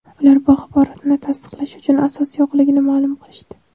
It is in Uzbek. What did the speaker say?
Ular bu axborotni tasdiqlash uchun asos yo‘qligini ma’lum qilishdi.